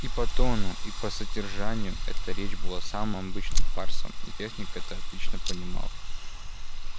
и по тону и по содержанию эта речь была самым обычным фарсом и техник это отлично понимал